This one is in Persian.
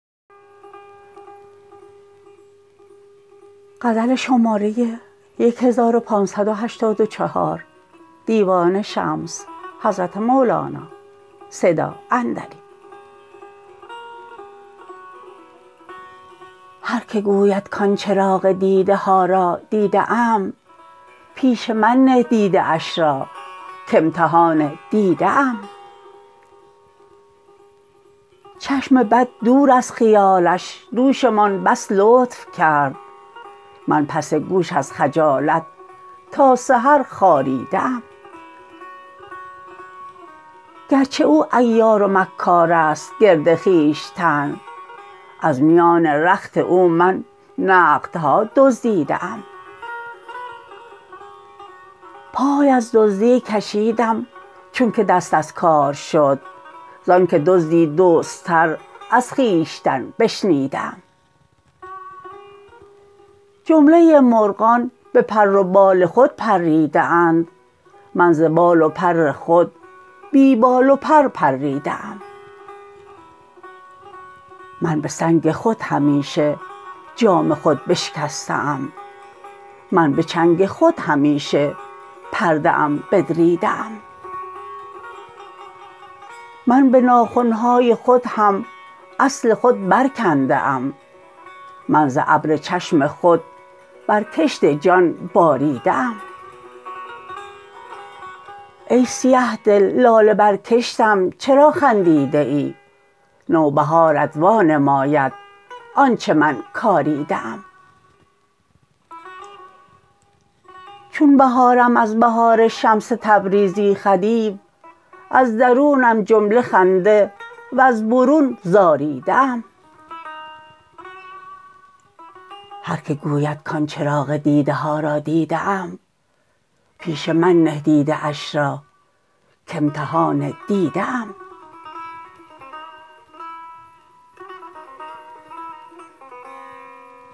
هر که گوید کان چراغ دیده ها را دیده ام پیش من نه دیده اش را کامتحان دیده ام چشم بد دور از خیالش دوشمان بس لطف کرد من پس گوش از خجالت تا سحر خاریده ام گرچه او عیار و مکار است گرد خویشتن از میان رخت او من نقدها دزدیده ام پای از دزدی کشیدم چونک دست از کار شد زانک دزدی دزدتر از خویشتن بشنیده ام جمله مرغان به پر و بال خود پریده اند من ز بال و پر خود بی بال و پر پریده ام من به سنگ خود همیشه جام خود بشکسته ام من به چنگ خود همیشه پرده ام بدریده ام من به ناخن های خود هم اصل خود برکنده ام من ز ابر چشم خود بر کشت جان باریده ام ای سیه دل لاله بر کشتم چرا خندیده ای نوبهارت وانماید آنچ من کاریده ام چون بهارم از بهار شمس تبریزی خدیو از درونم جمله خنده وز برون زاریده ام